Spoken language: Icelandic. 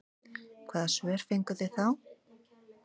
Hvaða svör fenguð þið þá?